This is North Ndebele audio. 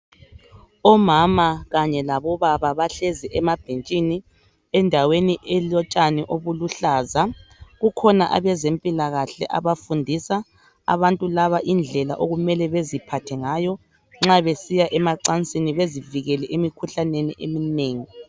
Omama khanye labobaba. bahlezi emabhetshini. Endaweni elotshani oluluhlaza. Kukhona abezemphilakahle abafundisa abantu laba indela abamele baziphathe ngayo nxa besiya emacancini bezivikele emkhuhlane eminengi.